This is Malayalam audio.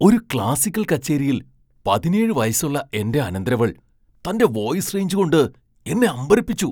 ഒരു ക്ലാസിക്കൽ കച്ചേരിയിൽ പതിനേഴ് വയസ്സുള്ള എന്റെ അനന്തരവൾ തന്റെ വോയിസ് റേഞ്ച് കൊണ്ട് എന്നെ അമ്പരപ്പിച്ചു .